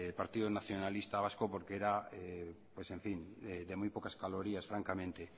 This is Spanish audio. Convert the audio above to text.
partido nacionalista vasco porque era pues en fin de muy pocas calorías francamente